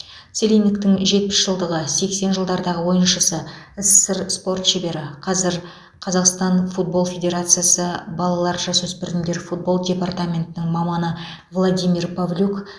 целинниктің жетпіс жылдығы сексен жылдардағы ойыншысы ссср спорт шебері қазір қазақстан футбол федерациясы балалар жасөспірімдер футбол департаментінің маманы владимир павлюк